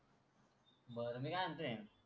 बर मी का मनते.